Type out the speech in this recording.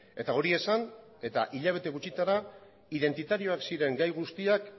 eta hori esan eta hilabete gutxitara identitarioak ziren gai guztiak